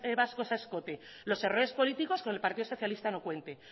vascos a escote los errores políticos con el partido socialista no cuente